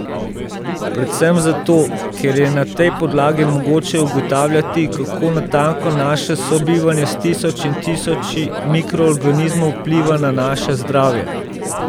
Predvsem zato, ker je na tej podlagi mogoče ugotavljati, kako natanko naše sobivanje s tisoči in tisoči mikroogranizmov vpliva na naše zdravje.